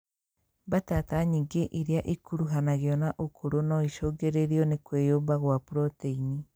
Mbatata nyingĩ irĩa ikuruhanagio na ũkũrũ noicũngĩrĩrio nĩ kwĩyũmba gwa proteini